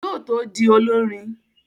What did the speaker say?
Yóò tó di olọ́rin